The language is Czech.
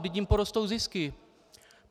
Vždyť jim porostou zisky!